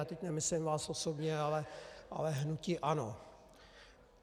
A teď nemyslím vás osobně, ale hnutí ANO.